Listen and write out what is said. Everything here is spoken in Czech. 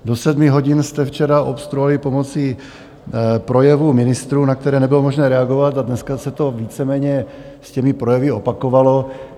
Do sedmi hodin jste včera obstruovali pomocí projevu ministrů, na které nebylo možné reagovat, a dneska se to víceméně s těmi projevy opakovalo.